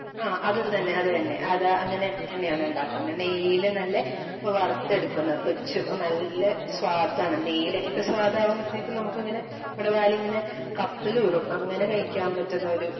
എഅ അത് തന്നെ അത് തന്നെ അങ്ങനെ തന്നെയാണ് ഉണ്ടാക്കുന്നേ. നെയ്യില് നല്ല വറുത്തെടുക്കുന്ന പൊരിച്ച് നല്ല സ്വാദാണ് നെയ്യുടെയൊക്കെ സ്വാദയാകുമ്പോഴെത്തേക്ക് നമുക്ക് ഇങ്ങനെ നമ്മുടെ വായില് ഇങ്ങനെ കപ്പലൂറും അങ്ങനെ കഴിക്കാൻ പറ്റുന്ന ഒരു